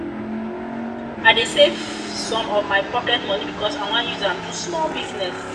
i dey save some of my pocket moni because i wan use am do small business.